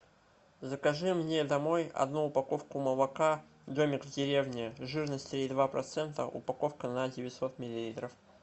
закажи мне домой одну упаковку молока домик в деревне жирность три и два процента упаковка на девятьсот миллилитров